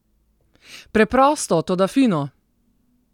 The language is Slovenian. Preprosto, toda fino!